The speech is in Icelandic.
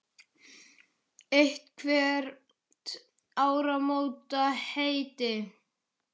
Eitthvert áramótaheiti?